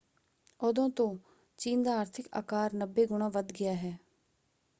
ਉਦੋਂ ਤੋਂ ਚੀਨ ਦਾ ਆਰਥਿਕ ਆਕਾਰ 90 ਗੁਣਾ ਵੱਧ ਗਿਆ ਹੈ।